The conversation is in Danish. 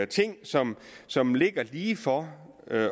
ting som som ligger lige for